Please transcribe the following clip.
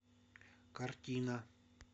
картина